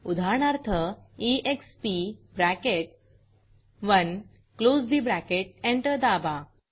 उदाहरणार्थ exp bracket close ठे bracket enter दाबा